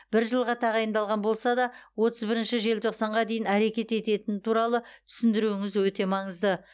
бір жылға тағайындалған болса да отыз бірінші желтоқсанға дейін әрекет ететіні туралы түсіндіруіңіз өте маңызды